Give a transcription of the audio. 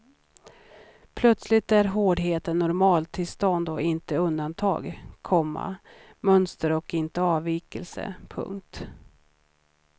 Plötsligt är hårdheten normaltillstånd och inte undantag, komma mönster och inte avvikelse. punkt